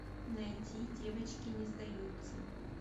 найти девочки не сдаются